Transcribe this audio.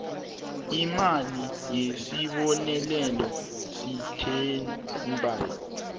imali yesibonelelo sestandby